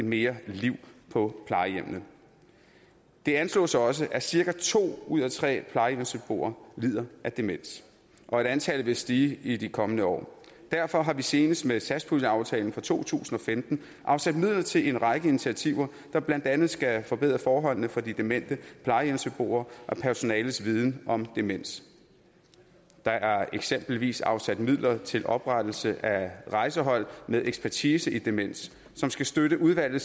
mere liv på plejehjemmene det anslås også at cirka to ud af tre plejehjemsbeboere lider af demens og at antallet vil stige i de kommende år derfor har vi senest med satspuljeaftalen for to tusind og femten afsat midler til en række initiativer der blandt andet skal forbedre forholdene for de demente plejehjemsbeboere og personalets viden om demens der er eksempelvis afsat midler til oprettelse af rejsehold med ekspertise i demens som skal støtte udvalgte